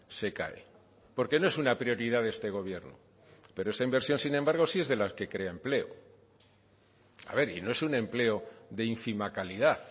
se cae porque no es una prioridad de este gobierno pero esa inversión sin embargo sí es de las que crea empleo a ver y no es un empleo de ínfima calidad